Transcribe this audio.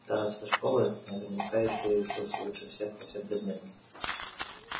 староста школы наверняка ещё и учился лучше всех по всем предметам